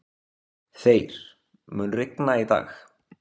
Þeyr, mun rigna í dag?